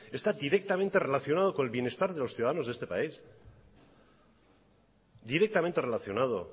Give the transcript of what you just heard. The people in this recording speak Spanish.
está directamente relacionado con el bienestar de los ciudadanos de este país directamente relacionado